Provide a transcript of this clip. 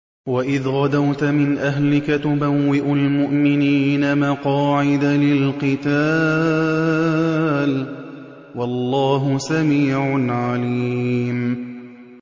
وَإِذْ غَدَوْتَ مِنْ أَهْلِكَ تُبَوِّئُ الْمُؤْمِنِينَ مَقَاعِدَ لِلْقِتَالِ ۗ وَاللَّهُ سَمِيعٌ عَلِيمٌ